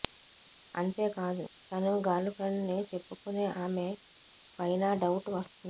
అంతేకాదు తను girl friend ని చెప్పుకునే ఆమె పైనా డౌట్ వస్తుంది